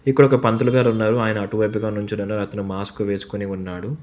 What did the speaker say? ఇక్కడ ఒక పంతులుగారు ఉన్నారు ఆయన అటువైపు కాని ఉంచి మాస్క్ వేసుకొని ఉన్నాడు.